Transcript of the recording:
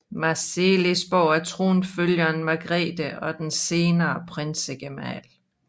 Marselisborg til tronfølgeren Margrethe og den senere prinsgemal